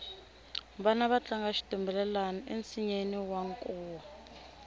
vana va tlanga xitumbelelani ensinyeni wa nkuwa